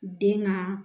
Den ka